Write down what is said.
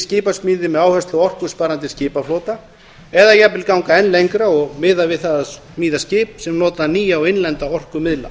skipasmíði með áherslu á orkusparandi skipaflota eða jafnvel ganga enn lengra og miða við það að smíða skip sem nota nýja og innlenda orkumiðla